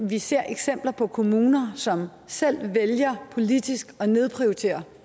vi ser eksempler på kommuner som selv vælger politisk at nedprioritere